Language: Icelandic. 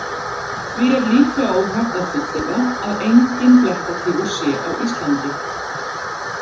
Því er líklega óhætt að fullyrða að enginn blettatígur sé á Íslandi.